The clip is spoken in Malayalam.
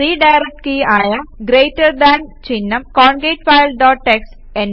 റിഡയറക്ട് കീ ആയ ഗ്രേറ്റർ ദാൻ ചിഹ്നം കോൺകാട്ട്ഫൈൽ ഡോട്ട് ടിഎക്സ്ടി